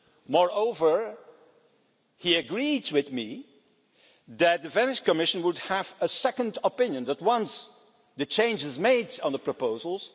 Moreover, he agreed with me that the Venice Commission would have a second opinion once the change is made to these proposals.